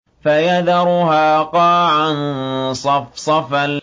فَيَذَرُهَا قَاعًا صَفْصَفًا